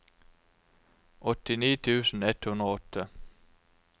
åttini tusen ett hundre og åtte